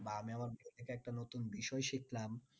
বা আমি আবার ওখান থেকে একটা নতুন বিষয় শিখলাম